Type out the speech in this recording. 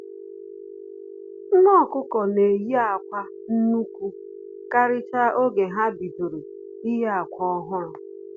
Nne ọkụkọ na-eyi akwa nnukwu karịchaa oge ha bidoro iyi akwa ọhụrụ